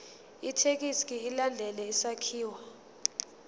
ithekisthi ilandele isakhiwo